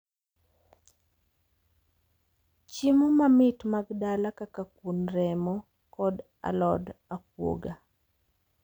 Chiemo mamit mag dala kaka kuon remo kod alod akuoga